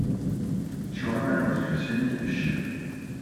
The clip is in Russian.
черное воскресенье ищи